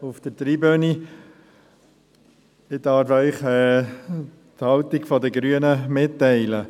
Ich darf Ihnen die Haltung der Grünen mitteilen.